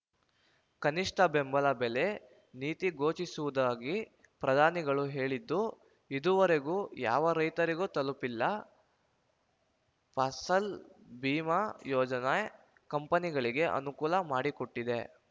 ಕನಿಷ್ಠ ಬೆಂಬಲ ಬೆಲೆ ನೀತಿ ಘೋಷಿಸುವುದಾಗಿ ಪ್ರಧಾನಿಗಳು ಹೇಳಿದ್ದು ಇದುವರೆಗೂ ಯಾವ ರೈತರಿಗೂ ತಲುಪಿಲ್ಲ ಫಸಲ್‌ ಬಿಮಾ ಯೋಜನೆ ಕಂಪನಿಗಳಿಗೆ ಅನುಕೂಲ ಮಾಡಿಕೊಟ್ಟಿದೆ